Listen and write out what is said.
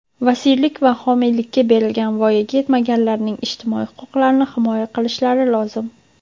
vasiylik va homiylikka berilgan voyaga yetmaganlarning ijtimoiy huquqlarini himoya qilishlari lozim.